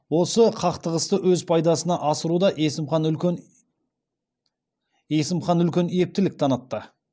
осы қақтығысты өз пайдасына асыруда есімхан үлкен ептілік танытады